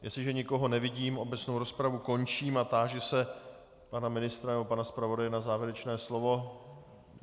Jestliže nikoho nevidím, obecnou rozpravu končím a táži se pana ministra nebo pana zpravodaje na závěrečné slovo.